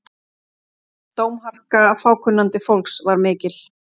Dómharka fákunnandi fólks var mikil.